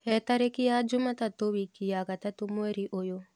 he tarĩkĩ ya jumatatũ wiki ya gatatu mwerĩ uyu